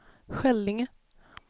Skällinge